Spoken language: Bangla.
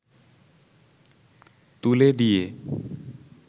তুলে দিয়ে